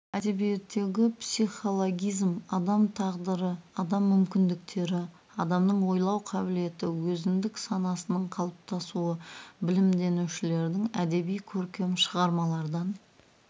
әдебиеттегі психологизм адам тағдыры адам мүмкіндіктері адамның ойлау қабілеті өзіндік санасының қалыптасуы білімденушілердің әдеби көркем шығармалардан